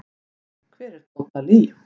Hver er Tóta Lee?